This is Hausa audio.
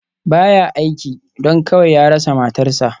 Ba ya aiki, don kawai ya rasa matarsa.